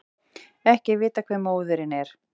Ekki er vitað hver móðirin er